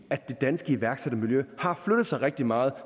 det danske iværksættermiljø har flyttet sig rigtig meget